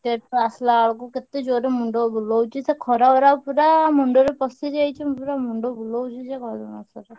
Market ରୁ ଆସିଲା ବେଳକୁ କେତେ ଜୋରେ ମୁଣ୍ଡ ବୁଲଉଛି ସେ ଖରା ଗୁରାକ ପୁରା ମୁଣ୍ଡରେ ପଶିଯାଇଛି ପୁରା ମୁଣ୍ଡ ବୁଲଉଛି ଯେ କହିଲେ ନ ସରେ।